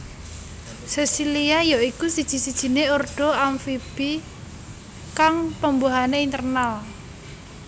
Sesilia ya iku siji sijiné ordo amfibi kang pembuahané internal